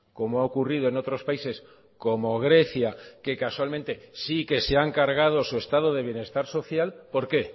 como ha ocurrido en otros países como grecia que casualmente sí que se han cargado su estado de bienestar social por qué